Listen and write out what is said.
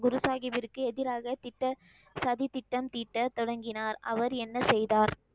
குரு சாஹீபிர்க்கு எதிராக திட்ட, சதி திட்டம் தீட்ட தொடங்கினார். அவர் என்ன செய்தார்?